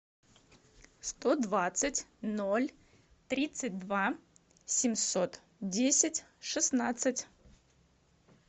сто двадцать ноль тридцать два семьсот десять шестнадцать